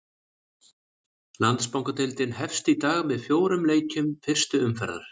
Landsbankadeildin hefst í dag með fjórum leikjum fyrstu umferðar.